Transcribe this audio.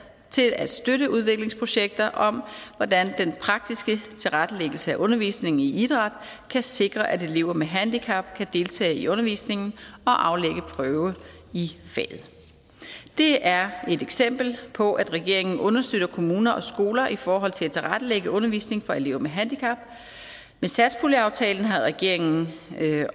til at støtte udviklingsprojekter om hvordan den praktiske tilrettelæggelse af undervisningen i idræt kan sikre at elever med handicap kan deltage i undervisningen og aflægge prøve i faget det er et eksempel på at regeringen understøtter kommuner og skoler i forhold til at tilrettelægge undervisningen for elever med handicap med satspuljeaftalen har regeringen